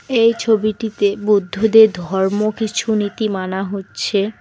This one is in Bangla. এই ছবিটিতে বুদ্ধদের ধর্ম কিছু নীতি মানা হচ্ছে।